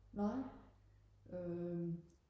nej øh